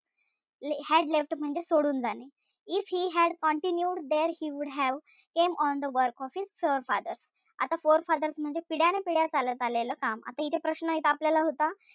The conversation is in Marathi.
Had left म्हणजे सोडून जाणे. If he had continued there he would have carried on the work of his forefathers आता forefathers म्हणजे पिढ्यानपिढ्या चाललेलं काम. आता इथे प्रश्न आपल्याला एक होता,